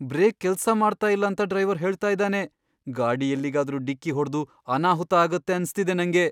Break ಕೆಲ್ಸ ಮಾಡ್ತಾ ಇಲ್ಲ ಅಂತ ಡ್ರೈವರ್ ಹೇಳ್ತಾ ಇದಾನೆ. ಗಾಡಿ ಎಲ್ಲಿಗಾದ್ರೂ ಡಿಕ್ಕಿ ಹೊಡ್ದು ಅನಾಹುತ ಆಗತ್ತೆ ಅನ್ಸ್ತಿದೆ ನಂಗೆ.